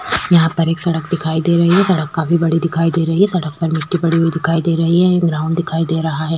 यहाँ पर एक सड़क दिखाई दे रही है सड़क काफी बड़ी दिखाई दे रही है सड़क पर मिट्टी पड़ी हुई दिखाई दे रही है ये ग्राउंड दिखाई दे रहा है।